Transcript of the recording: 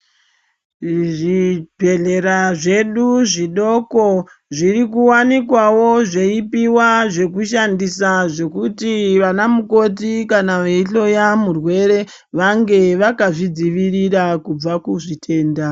Zvibhedhlera zvedu zvidoko zviri kuwanikwawo zveipiwa zvekushandisa zvekuti vana mukoti kana veihloya murwere vange vakazvidzivirira kubva kuzvitenda.